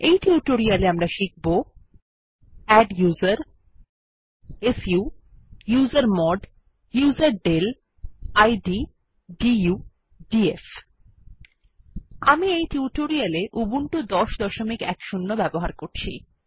এই টিউটোরিয়াল এ আমরা শিখব আদ্দুসের su usermod userdel id du df আমি এই টিউটোরিয়াল এ উবুন্টু ১০১০ ব্যবহার করছি